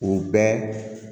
U bɛ